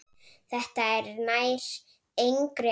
Þetta nær engri átt.